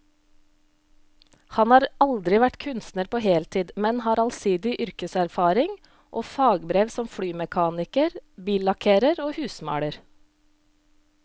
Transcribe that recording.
Han har aldri vært kunstner på heltid, men har allsidig yrkeserfaring og fagbrev som flymekaniker, billakkerer og husmaler.